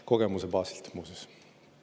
Kogemuse baasilt, muuseas.